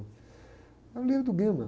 É um livro do Guima